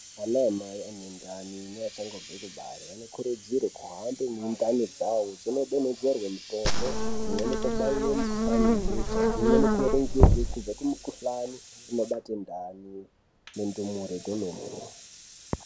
Ana mai ane ndani neachangobva kubarwa anokurudzirwa kuhamba mundani dzawo kudonhedzerwa mitombo dzimweni yakadai nemikuhlani yebesha yakarongwrwa kubva kumukuhlani inobata ndani nendumure kwemene.